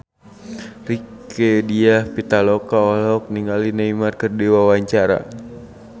Rieke Diah Pitaloka olohok ningali Neymar keur diwawancara